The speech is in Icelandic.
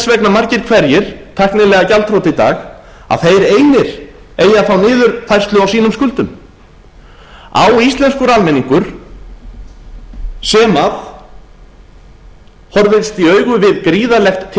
vegna margir hver tæknilega gjaldþrota í dag að þeir einir eigi að fá niðurfærslu á sínum skuldum á íslenskur almenningur sem horfist í augu við gríðarlegt